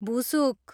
भुसुक